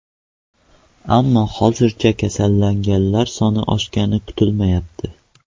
Ammo hozircha kasallanganlar soni oshgani kuzatilmayapti.